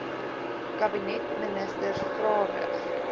kabinetministers vrae rig